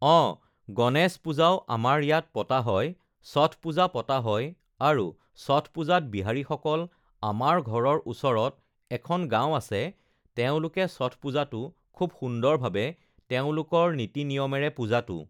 অঁ গণেশ পূজাও আমাৰ ইয়াত পতা হয় ষঠ পূজা পতা হয় আৰু ষঠ পূজাত বিহাৰীসকল আমাৰ ঘৰৰ ওচৰত এখন গাঁও আছে তেওঁলোকে ষঠ পূজাটো খুব সুন্দৰভাবে তেওঁলোকৰ নীতি-নিয়মেৰে পূজাটো